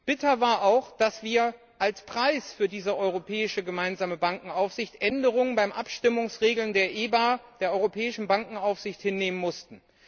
Bitter war auch, dass wir als Preis für diese gemeinsame Europäische Bankaufsicht Änderungen bei den Abstimmungsregeln der EBA der Europäischen Bankenaufsicht hinnehmen mussten.